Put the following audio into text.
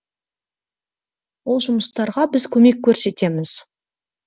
ол жұмыстарға біз көмек көрсетеміз